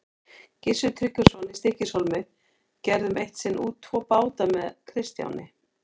Gissur Tryggvason í Stykkishólmi gerðum eitt sinn út tvo báta með Kristjáni.